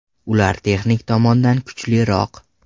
Ular texnik tomondan kuchliroq.